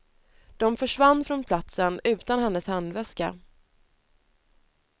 De försvann från platsen utan hennes handväska.